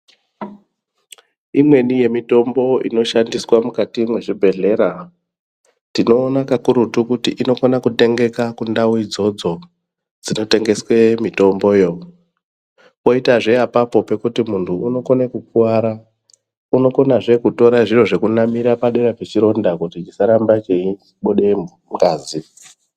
Imweni yemitombo inoshandiswa mukati mezvibhedhlera tinoona kakurutu kuti inofana kutengeka kundau idzodzo dzinotengeswe mitombo yo, poita zve apapo pekutu muntu unokone kukuwara unokonazve kutora zviro zvekunamira padera pechironda kuti chisaramba cheibuda ngazi.